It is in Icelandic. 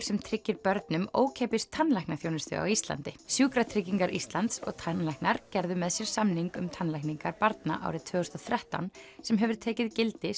sem tryggir börnum ókeypis tannlæknaþjónustu á Íslandi sjúkratryggingar Íslands og tannlæknar getur með sér samning um tannlækningar barna árið tvö þúsund og þrettán sem hefur tekið gildi